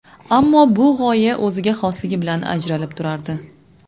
Ammo bu g‘oya o‘ziga xosligi bilan ajralib turardi.